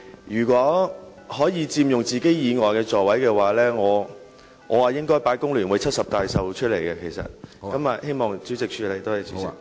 如果議員可以佔用其座位以外的座位，我便會將"工聯會70大壽"的道具擺放在那些座位上。